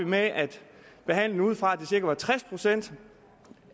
med at behandle det ud fra at det cirka var tres procent